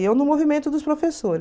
Eu no movimento dos